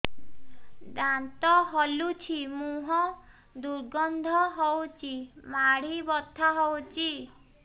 ଦାନ୍ତ ହଲୁଛି ମୁହଁ ଦୁର୍ଗନ୍ଧ ହଉଚି ମାଢି ବଥା ହଉଚି